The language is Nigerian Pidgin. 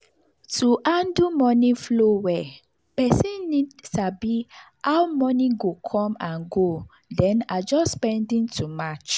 to handle money flow well person need sabi how money go come and go then adjust spending to match.